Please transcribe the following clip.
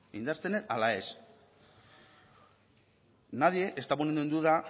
indartzen den ala ez nadie está poniendo en duda